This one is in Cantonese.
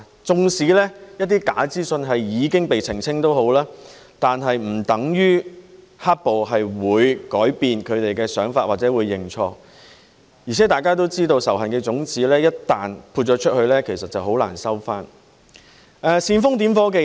縱使一些假資訊已經被澄清，但是不等於"黑暴"分子會改變他們的想法或認錯，而且大家都知道仇恨的種子一旦播了出去，其實很難收回，煽風點火的人......